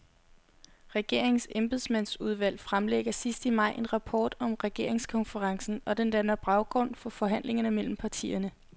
Regeringens embedsmandsudvalg fremlægger sidst i maj en rapport om regeringskonferencen, og den danner baggrund for forhandlingerne mellem partierne.